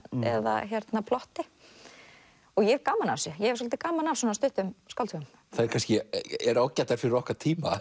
eða plotti og ég hef gaman af þessu ég hef svolítið gaman af svona stuttum skáldsögum þær eru ágætar fyrir okkar tíma